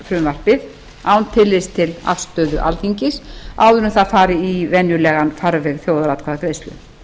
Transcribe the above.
frumvarpið án tillits til afstöðu alþingis áður en það fari í venjulegan farveg þjóðaratkvæðagreiðslu